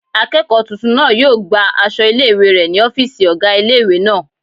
Akẹ́kọ̀ọ́ tuntun náà yóò gba aṣọ ilé-ìwé rẹ̀ ní ọ́fìsì ọgá ilé-ìwé náà